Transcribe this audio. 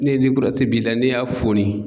Ne ni b'i la ne y'a foni.